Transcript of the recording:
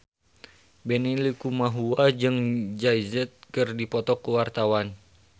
Benny Likumahua jeung Jay Z keur dipoto ku wartawan